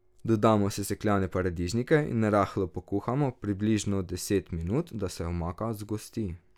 Dodamo sesekljane paradižnike in rahlo pokuhamo, približno deset minut, da se omaka zgosti.